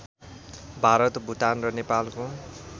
भारत भुटान र नेपालको